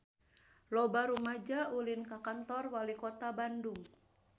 Loba rumaja ulin ka Kantor Walikota Bandung